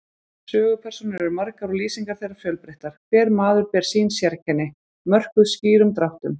Sögupersónur eru margar og lýsingar þeirra fjölbreyttar, hver maður ber sín sérkenni, mörkuð skýrum dráttum.